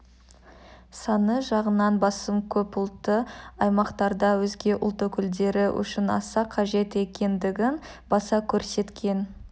саны жағынан басым көп ұлтты аймақтарда өзге ұлт өкілдері үшін аса қажет екендігін баса көрсеткен